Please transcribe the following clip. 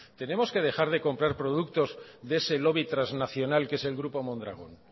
tenemos que dejar de comprar productos de ese lobby transnacional que es el grupo mondragón